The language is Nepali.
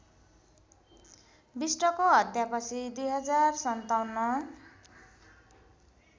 विष्टको हत्यापछि २०५७